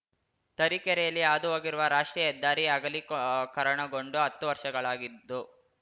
ತರೀಕೆರೆಯಲ್ಲಿ ಹಾದುಹೋಗಿರುವ ರಾಷ್ಟ್ರೀಯ ಹೆದ್ದಾರಿ ಅಗಲೀಕರಣಗೊಂಡು ಹತ್ತು ವರ್ಷಗಳಾಗಿದ್ದು